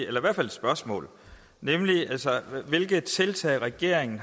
eller i hvert fald et spørgsmål nemlig hvilke tiltag har regeringen